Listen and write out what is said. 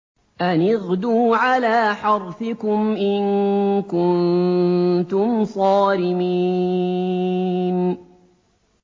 أَنِ اغْدُوا عَلَىٰ حَرْثِكُمْ إِن كُنتُمْ صَارِمِينَ